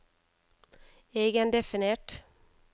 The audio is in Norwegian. egendefinert